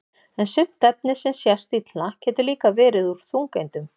en sumt efni sem sést illa getur líka verið úr þungeindum